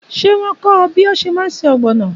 Ṣé wọn kọ́ ẹ bí o ṣe má ṣe Ọ̀gbọ̀nọ̀?